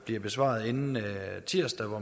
bliver besvaret inden tirsdag hvor